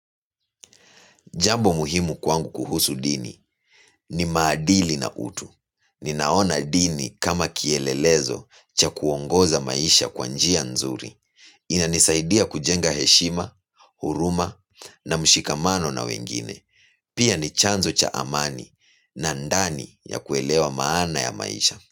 Jambo muhimu kwangu kuhusu dini ni maadili na utu. Ninaona dini kama kielelezo cha kuongoza maisha kwa njia nzuri. Inanisaidia kujenga heshima, huruma na mshikamano na wengine. Pia ni chanzo cha amani na ndani ya kuelewa maana ya maisha.